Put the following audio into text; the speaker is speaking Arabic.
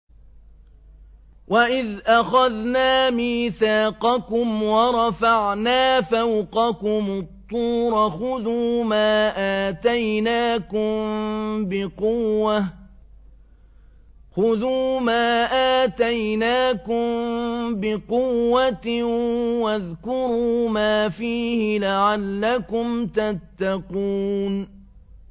وَإِذْ أَخَذْنَا مِيثَاقَكُمْ وَرَفَعْنَا فَوْقَكُمُ الطُّورَ خُذُوا مَا آتَيْنَاكُم بِقُوَّةٍ وَاذْكُرُوا مَا فِيهِ لَعَلَّكُمْ تَتَّقُونَ